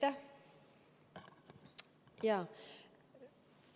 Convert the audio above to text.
Aitäh!